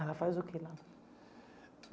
Ela faz o que lá?